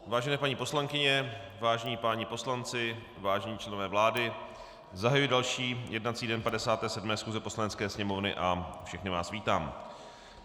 Vážené paní poslankyně, vážení páni poslanci, vážení členové vlády, zahajuji další jednací den 57. schůze Poslanecké sněmovny a všechny vás vítám.